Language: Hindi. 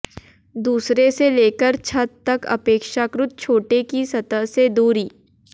दूसरे से लेकर छत तक अपेक्षाकृत छोटे की सतह से दूरी